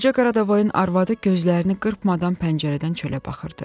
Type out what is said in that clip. Qoca Qaradavoyun arvadı gözlərini qırpmadan pəncərədən çölə baxırdı.